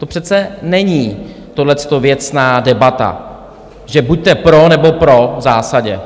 To přece není, tohleto, věcná debata, že buďte "pro", nebo "pro", v zásadě.